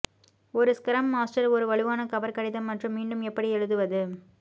ஒரு scrum master ஒரு வலுவான கவர் கடிதம் மற்றும் மீண்டும் எப்படி எழுதுவது